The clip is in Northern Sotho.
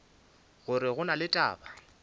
gore go na le taba